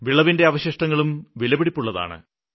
വിളവിന്റെ അവശിഷ്ടങ്ങളും വിലപിടിപ്പുള്ളതാണ്